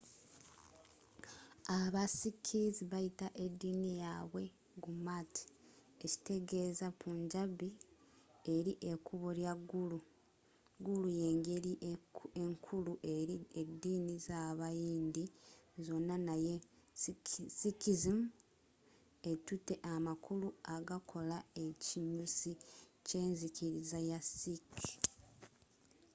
aba sikhs bayita ediini yaabwe gurmat ekitegeza punjabi eri ekubo lya guru”. guru yengeri enkuru eri ediini z'abayindi zonna naye sikhism ettute amakulu agakola ekinyusi ky'enzikiriza ya sikh